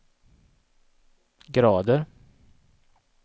grader